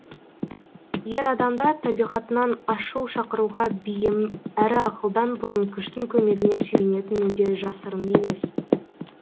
ер адамда табиғатынан ашу шақыруға бейім әрі ақылдан бұрын күштің көмегіне сүйенетіні де жасырын емес